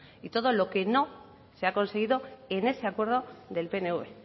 y todo lo que no se ha conseguido en ese acuerdo del pnv